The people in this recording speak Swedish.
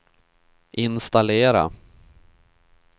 installera